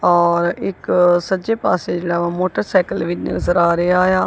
ਔਰ ਇੱਕ ਸੱਜੇ ਪਾਸੇ ਜਿਹੜਾ ਮੋਟਰਸਾਈਕਲ ਵੀ ਨਜ਼ਰ ਆ ਰਿਹਾ ਆ।